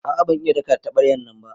A'a ban iya daka da tabaryan nan ba.